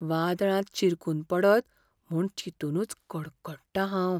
वादळांत शिरकून पडत म्हूण चिंतुनूच कडकडटां हांव.